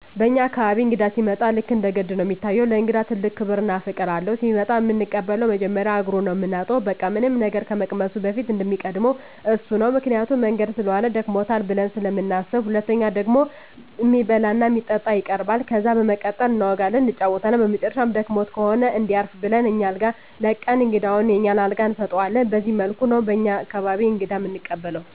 በኛ አካባቢ እንግዳ ሲመጣ ልክ እንደ ገድ ነው እሚታየው። ለእንግዳ ትልቅ ክብር እና ፍቅር አለው። ሲመጣ እምንቀበለው መጀመሪያ እግሩን ነው ምናጥበው በቃ ምንም ነገር ከመቅመሱ በፊት እሚቀድመው እሱ ነው ምክንያቱም መንገድ ሰለዋለ ደክሞታል ብለን ስለምናስብ። ሁለተኛው ደግሞ እሚበላ እና እሚጠጣ ይቀርባል። ከዛ በመቀጠል እናወጋለን እንጫወታለን በመጨረሻም ደክሞት ከሆነ እንዲያርፍ ብለን አኛ አልጋ ለቀን እንግዳውን የኛን አልጋ እንሰጠዋለን በዚህ መልኩ ነው በኛ አካባቢ እንግዳ እምንቀበለው።